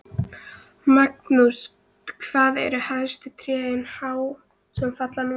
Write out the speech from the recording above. Magnús: Hvað eru hæstu trén há sem falla núna?